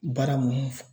Baara mun fɔ